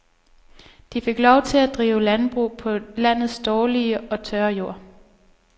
De fik lov til at drive landbrug på landets dårlige og tørre jord.